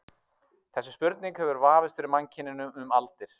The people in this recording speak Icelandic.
Þessi spurning hefur vafist fyrir mannkyninu um aldir.